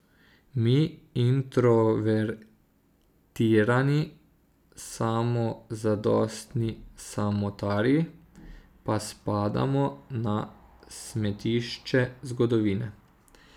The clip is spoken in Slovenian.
Mi, introvertirani, samozadostni samotarji, pa spadamo na smetišče zgodovine.